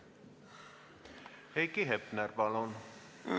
Heiki Hepner, palun!